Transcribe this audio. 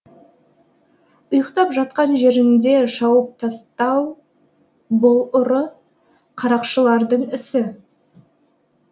ұйықтап жатқан жерінде шауып тастау бұл ұры қарақшылардың ісі